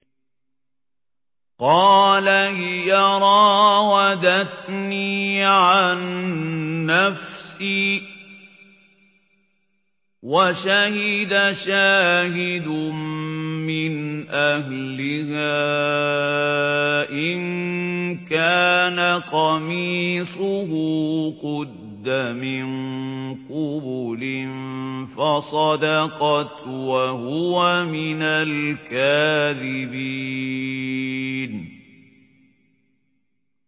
قَالَ هِيَ رَاوَدَتْنِي عَن نَّفْسِي ۚ وَشَهِدَ شَاهِدٌ مِّنْ أَهْلِهَا إِن كَانَ قَمِيصُهُ قُدَّ مِن قُبُلٍ فَصَدَقَتْ وَهُوَ مِنَ الْكَاذِبِينَ